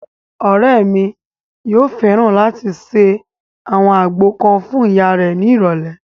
Ọ̀rẹ́ mi yóò fẹ́ràn láti ṣe àwọn àgbo kan fún ìyá rẹ̀ ní ìrọ̀lẹ̀